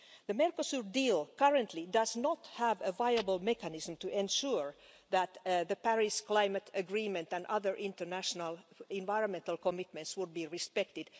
The Mercosur deal currently does not have a viable mechanism to ensure that the Paris Climate Agreement and other international environmental commitments would be respected.